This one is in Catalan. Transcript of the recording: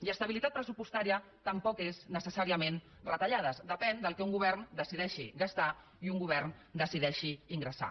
i estabilitat pressupostària tampoc és necessàriament retallades depèn del que un govern decideixi gastar i un govern decideixi ingressar